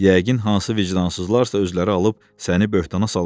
Yəqin hansı vicdansızlarsa özləri alıb səni böhtana salıblar.